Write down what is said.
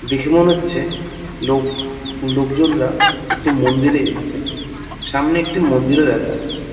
দেখে মনে হচ্ছে লোক লোকজনরা একটি মন্দিরে এসেছে | সামনে একটি মন্দিরও দেখা যাচ্ছে।